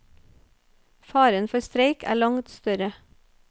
Faren for streik er langt større.